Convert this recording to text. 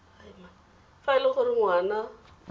fa e le gore ngwana